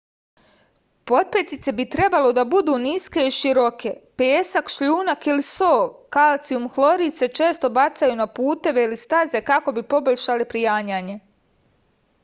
потпетице би требало да буду ниске и широке. песак шљунак или со калцијум хлорид се често бацају на путеве или стазе како би побољшале пријањање